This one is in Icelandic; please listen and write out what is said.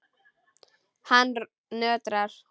Hann nötrar.